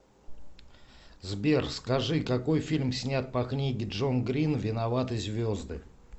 сбер скажи какои фильм снят по книге джон грин виноваты звезды